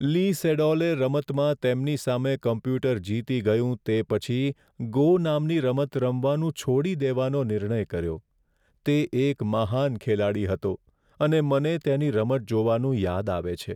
લી સેડોલે રમતમાં તેમની સામે કોમ્પ્યુટર જીતી ગયું તે પછી "ગો" નામની રમત રમવાનું છોડી દેવાનો નિર્ણય કર્યો. તે એક મહાન ખેલાડી હતો અને મને તેની રમત જોવાનું યાદ આવે છે.